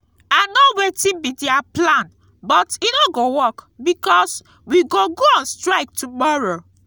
i know wetin be their plan but e no go work because we go go on strike tomorrow